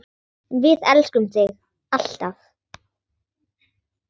Við elskum þig, alltaf.